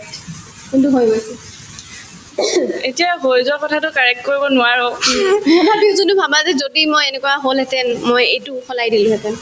যোনতোত হৈ গৈছে তথাপিও যোনতো ভাবা যে যদি মই এনেকুৱা হল হেতেন মই এইটো সলাই দিলো হেতেন